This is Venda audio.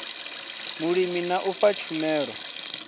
vhulimi na u fha tshumelo